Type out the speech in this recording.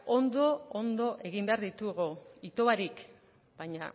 ondo egin behar ditugu ito barik baina